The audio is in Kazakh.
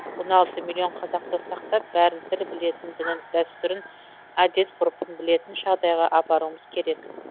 он алты миллион қазақты сақтап бәрін тіл білетін дінін дәстүрін әдет ғұрпын білетін жағдайға апаруымыз керек